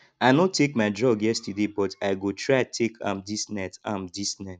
i no take my drug yesterday but i go try take am dis night am dis night